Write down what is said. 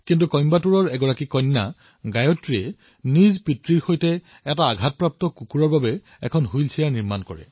কইম্বাটুৰৰ এজনী কন্যাই নিজৰ পিতৃৰ সৈতে এক পীড়িত কুকুৰৰ বাবে হুইলচেয়াৰ নিৰ্মাণ কৰিছে